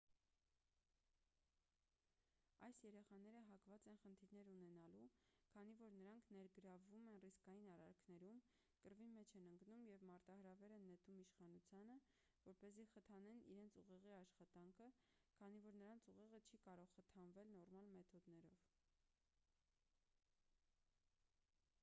այս երեխաները հակված են խնդիրներ ունենալու քանի որ նրանք ներգրավվում են ռիսկային արարքներում կռվի մեջ են ընկնում և մարտահրավեր են նետում իշխանությանը որպեսզի խթանեն իրենց ուղեղի աշխատանքը քանի որ նրանց ուղեղը չի կարող խթանվել նորմալ մեթոդներով